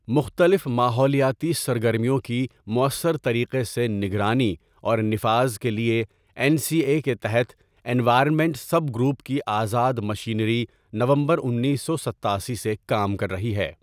مختلف ماحولیاتی سرگرمیوں کی مؤثر طریقے سے نگرانی اور نفاذ کے لیے، این سی اے کے تحت انوائرمنٹ سب گروپ کی آزاد مشینری نومبر انیس سو ستاسی سے کام کر رہی ہے۔